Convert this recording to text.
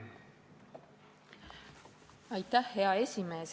Hea esimees!